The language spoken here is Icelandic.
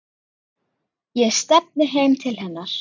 Ég stefni heim til hennar.